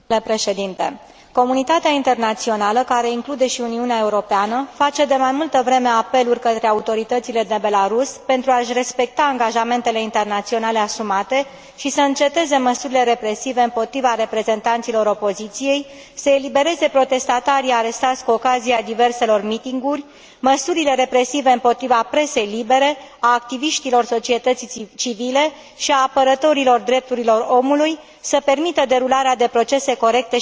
Comunitatea internațională, care include și Uniunea Europeană, face de mai multă vreme apeluri către autoritățile din Belarus pentru a și respecta angajamentele internaționale asumate și să înceteze măsurile represive împotriva reprezentanților opoziției, să elibereze protestatarii arestați cu ocazia diverselor meetinguri, măsurile represive împotriva presei libere, a activiștilor societății civile și a apărătorilor drepturilor omului, să permită derularea de procese corecte și transparente.